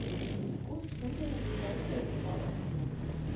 курс фунта на ближайшие двенадцать дня